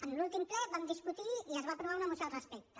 en l’últim ple vam discutir i es va aprovar una moció al respecte